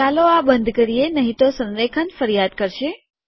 ચાલો આ બંધ કરીએ નહીં તો સંરેખન ફરિયાદ કરશે